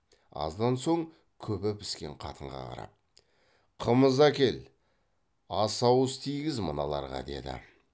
аздан соң күбі піскен қатынға қарап қымыз әкел ас ауыз тигіз мыналарға деді